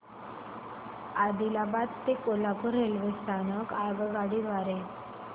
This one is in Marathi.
आदिलाबाद ते कोल्हापूर रेल्वे स्थानक आगगाडी द्वारे